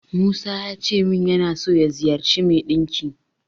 Musa yace min yana so ya ziyarci mai ɗinki.